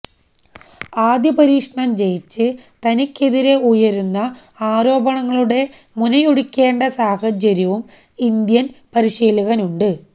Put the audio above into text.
ആദ്യ പരീക്ഷണം ജയിച്ച് തനിക്കെതിരെ ഉയരുന്ന ആരോപണങ്ങളുടെ മുനയൊടിക്കേണ്ട സാഹചര്യവും ഇന്ത്യന് പരിശീലകനുണ്ട്